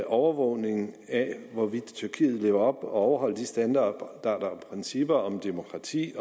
overvågning af hvorvidt tyrkiet lever op til og overholder de standarder for og principper om demokrati